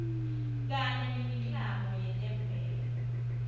kanye nemiklamo yetemvelo